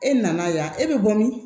E nana yan e bɛ bɔ min